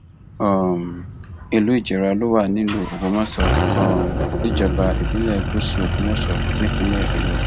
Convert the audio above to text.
um ìlú ìjẹrà ló wà nílùú ògbómọṣọ um níjọba ìbílẹ gúúsù ògbómọṣọ nípínlẹ ọyọ